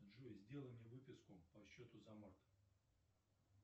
джой сделай мне выписку по счету за март